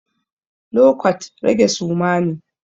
Lo kwat, rage suma ne.